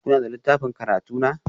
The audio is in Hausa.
Kuna da littafin karatu na?